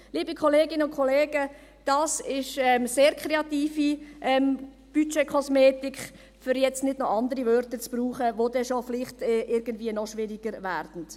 Liebe Kolleginnen und Kollegen, das ist sehr kreative Budgetkosmetik, um nun nicht noch andere Bezeichnungen zu verwenden, die vielleicht irgendwie noch schwieriger wären.